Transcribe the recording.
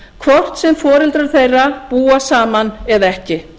sína hvort sem foreldrar þeirra búa saman eða ekki